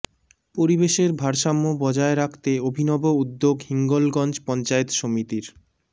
পরিবেশের ভারসাম্য বজায় রাখতে অভিনব উদ্যোগ হিঙ্গলগঞ্জ পঞ্চায়েত সমিতির